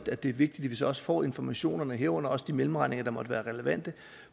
at det er vigtigt at vi så også får informationerne herunder også de mellemregninger der måtte være relevante